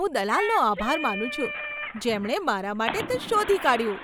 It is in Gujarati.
હું દલાલનો આભાર માનું છું, જેમણે મારા માટે તે શોધી કાઢ્યું.